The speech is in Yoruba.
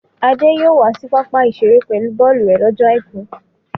Adé yóò wá sí pápá-ìṣeré pẹ̀lú bọ́ọ́lù rẹ̀ slọ́jọ́ àìkú.